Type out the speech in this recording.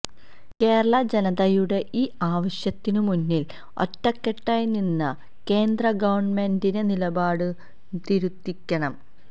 കേരള ജനതയുടെ ഈ ആവശ്യത്തിനുമുന്നിൽ ഒറ്റക്കെട്ടായി നിന്നു കേന്ദ്രഗവൺമെന്റിന്റെ നിലപാടു തിരുത്തിക്കണം